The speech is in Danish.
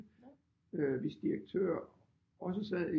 Øh hvis direktør også sad i